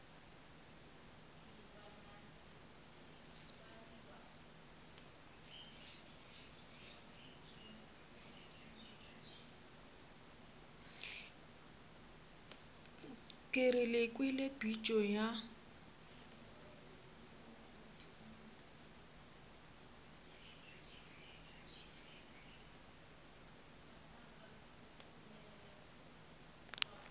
ke re kwele pitšo ya